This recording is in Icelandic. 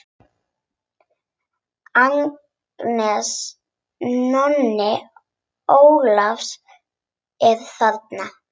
Agnes, Nonni Ólafs er þarna!